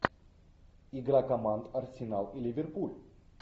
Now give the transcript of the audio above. игра команд арсенал и ливерпуль